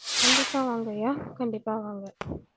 கண்டிப்பா வாங்க ஐயா கண்டிப்பா வாங்க